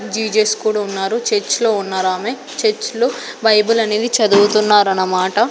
Jesus కూడున్నారు church లో ఉన్నారు ఆమె చర్చ్ లో బైబిల్ అనేది చదువుతున్నారన్నమాట.